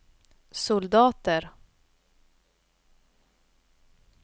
soldater